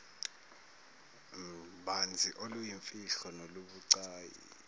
banzi oluyimfihlo nolubucayi